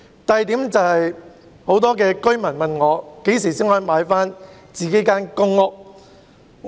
第二點，很多居民問我何時才可以購回自己的公屋單位。